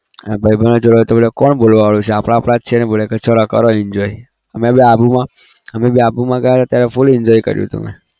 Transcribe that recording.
અહીંયા ભાઈબંધો જોડે તો કોણ બોલવાવાળું છે આપણા આપણા છે બોલે કે ચાલો કરો enjoy અમે આબુમાં અમે આબુમાં ગયા હતા ત્યારે full enjoy કર્યું હતું મેં